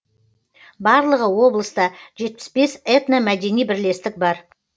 барлығы облыста жетпіс бес этномәдени бірлестік бар